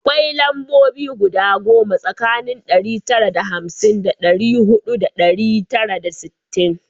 Akwai lambobi guda goma tsakanin ɗari tara da hamsin da huɗu da ɗari tara da sittin